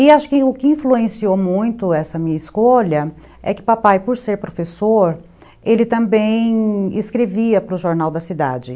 E acho que o que influenciou muito essa minha escolha é que papai, por ser professor, ele também escrevia para o Jornal da Cidade.